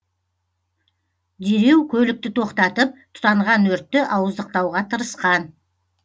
дереу көлікті тоқтатып тұтанған өртті ауыздықтауға тырысқан